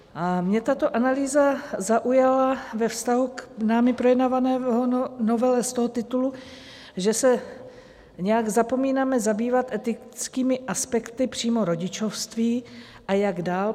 A mě tato analýza zaujala ve vztahu k námi projednávané novele z toho titulu, že se nějak zapomínáme zabývat etickými aspekty přímo rodičovství, a jak dál.